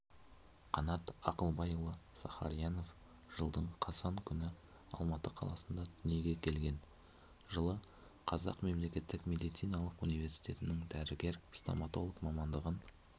қанат ақылбайұлысахариянов жылдың қазан күні алматы қаласында дүниеге келген жылы қазақ мемлекеттік медициналық университетінің дәрігер-стоматолог мамандығын